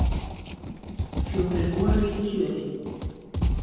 Fjórir voru í kjöri.